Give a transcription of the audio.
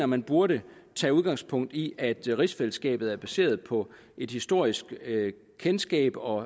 man burde tage udgangspunkt i at rigsfællesskabet er baseret på et historisk kendskab og